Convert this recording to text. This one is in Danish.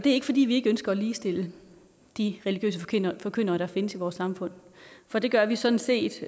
ikke fordi vi ikke ønsker at ligestille de religiøse forkyndere der findes i vores samfund for det gør vi sådan set